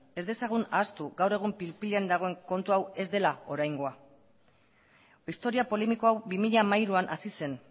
ez dezagun ahaztu gaur egun pil pilean dagoen kontu hau ez dela oraingoa historia polemiko hau bi mila hamairuan hasi zen